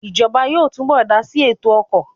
Ìjọba yóò túbọ̀ dásí ètò ọkọ̀